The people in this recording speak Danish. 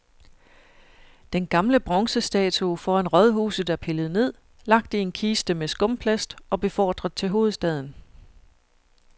Den gamle bronzestatue foran rådhuset er pillet ned, lagt i en kiste med skumplast og befordret til hovedstaden.